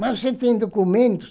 Mas você tem documentos?